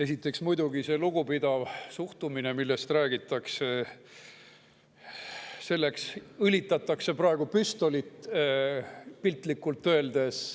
Esiteks, selleks lugupidavaks suhtumiseks, millest räägitakse, muidugi õlitatakse praegu püstolit, piltlikult öeldes.